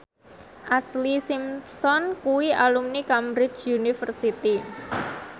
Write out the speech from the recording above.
Ashlee Simpson kuwi alumni Cambridge University